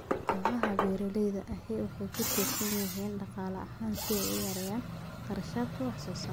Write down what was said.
Kooxaha beeralayda ahi waxay ku tiirsan yihiin dhaqaale ahaan si ay u yareeyaan kharashaadka wax soo saarka.